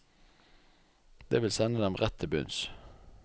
Det vil sende dem rett til bunns.